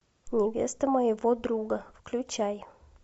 невеста моего друга включай